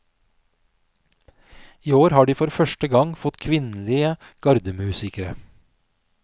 I år har de for første gang fått kvinnelige gardemusikere.